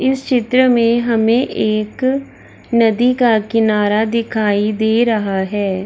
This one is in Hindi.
इस चित्र में हमें एक नदी का किनारा दिखाई दे रहा है।